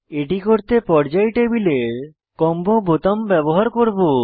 এটি করতে পর্যায় টেবিলের কম্বো বোতাম ব্যবহার করব